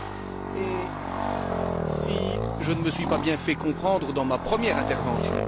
Je ne me suis peut être pas bien fait comprendre dans ma première intervention.